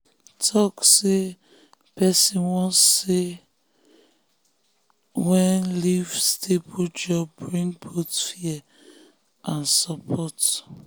talk say person wan say person wan leave stable job bring both fear and support.